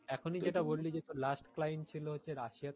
এখনি যেটা বললি যে তোর last client ছিলো যে হচ্ছে Russia